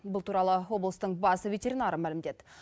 бұл туралы облыстың бас ветеринары мәлімдеді